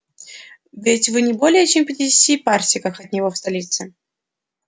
ведь вы не более чем в пятидесяти парсеках от его столицы